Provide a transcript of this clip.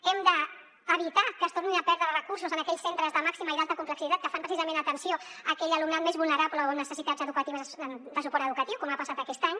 hem d’evitar que es tornin a perdre recursos en aquells centres de màxima i d’alta complexitat que fan precisament atenció a aquell alumnat més vulnerable o amb necessitats educatives de suport educatiu com ha passat aquest any